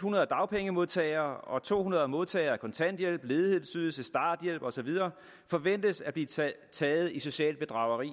hundrede dagpengemodtagere og to hundrede modtagere af kontanthjælp ledighedsydelse starthjælp og så videre forventes at blive taget i socialt bedrageri